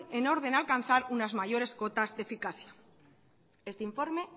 en orden a alcanzar unas mayores cuotas de eficacia este informe